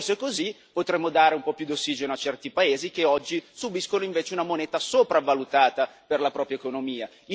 Forse così potremo dare un po' più di ossigeno a certi paesi che oggi subiscono invece una moneta sopravvalutata per la propria economia.